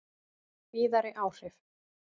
Víðari áhrif